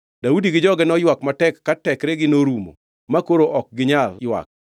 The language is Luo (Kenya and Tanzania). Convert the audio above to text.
Daudi gi joge noywak matek ma tekregi norumo makoro ok ginyal ywak.